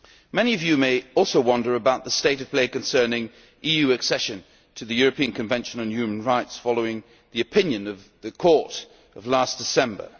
Many of you may also wonder about the state of play concerning EU accession to the European Convention on Human Rights, following the opinion of the Court of last December.